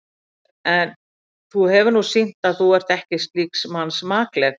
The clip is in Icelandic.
En þú hefir nú sýnt, að þú ert ekki slíks manns makleg.